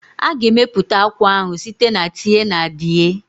A ga-emepụta akwa ahụ site na tie-na-die